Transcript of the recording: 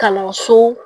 Kalanso